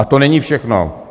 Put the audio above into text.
A to není všechno.